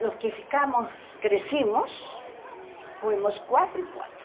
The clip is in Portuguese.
Nós que ficamos, crescemos, fomos quatro e quatro.